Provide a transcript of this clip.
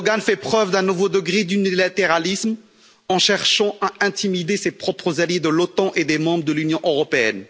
Erdoğan fait preuve d'un nouveau degré d'unilatéralisme en cherchant à intimider ses propres alliés de l'OTAN et des membres de l'Union européenne.